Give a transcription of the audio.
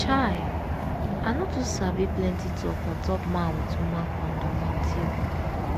chai i no too sabi plenty talk on top man with woman kondom until